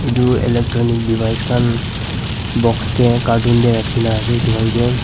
Tu electronic device khan box tey cartoon tey rakhina ase etu khan k.